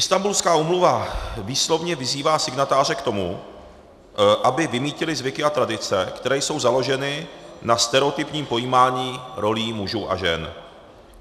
Istanbulská úmluva výslovně vyzývá signatáře k tomu, aby vymýtili zvyky a tradice, které jsou založeny na stereotypním pojímání rolí mužů a žen.